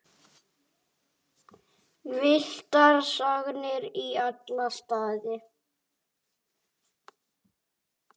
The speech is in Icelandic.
Villtar sagnir í alla staði.